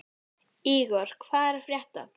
Ígor, hvað er að frétta?